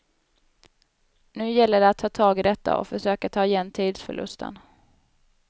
Nu gäller det att ta tag i detta och försöka ta igen tidsförlusten.